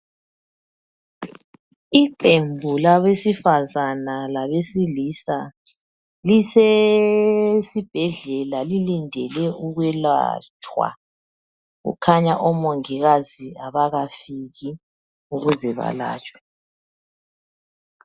Iqembu labesifazane labesilisa lisesibhedlela lilindele ukwelatshwa, kukhanya omongikazi abakafiki ukuze balatshwe.